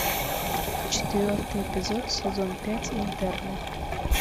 четвертый эпизод сезон пять интерны